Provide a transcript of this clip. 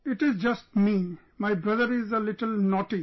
It is just me, my brother is a little naughty